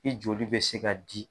I joli bɛ se ka di.